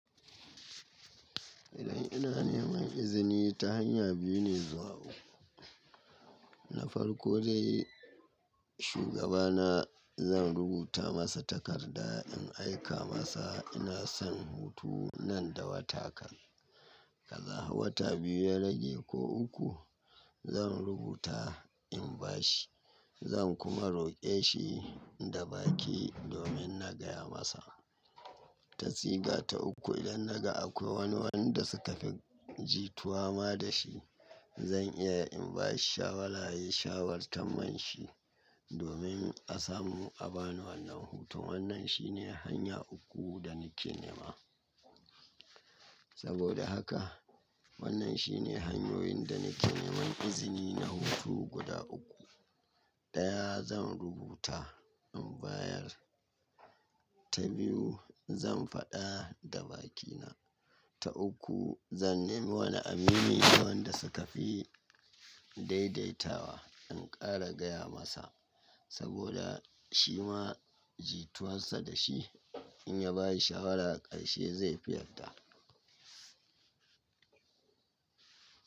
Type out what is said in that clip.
Idan ina neman izini ta hanya biyu ne zuwa uku. Na farko dai shugabana zan rubuta masa takarda in aika masa ina son hutu nan da wata kan. Ka za wata biyu ya rage ko uku zan rubuta in ba shi zan kuma roƙe shi da baki domin na gaya masa. Ta siga ta uku idan naga akwai wani wanda suka fi jituwa ma da shi zan iya in ba shi shawara yayi shawarta man shi domin a samu a bani wannan hutun. Wannan shine hanya uku da nake nema. Saboda haka wannan shine hanyoyin da nake nema izini na hutu guda uku. Ɗaya zan rubuta in bayar, ta biyu zan faɗa da bakina, ta uku zan nemi wani aminina wanda suka fi daidaitawa in ƙara gaya masa saboda shi ma jituwarsa da shi in ya ba shi shawara ƙarshe zai fi yarda.